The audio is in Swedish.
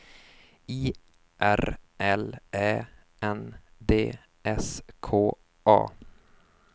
I R L Ä N D S K A